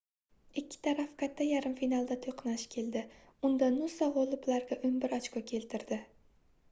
ikki taraf katta yarim finalda toʻqnash keldi unda nusa gʻoliblarga 11 ochko keltirdi